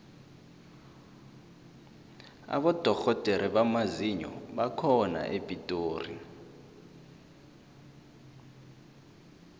abodorhodere bamazinyo bakhona epitori